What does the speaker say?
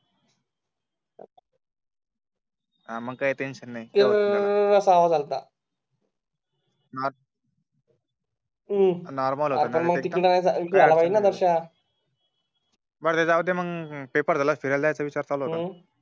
मग काही टेंशन नाही किर्र्रर्र्र्र असा आवाज आलं होतं ब्र ते जाऊ दे पेपर झालं असत ते द्यायचा विचार चालू होता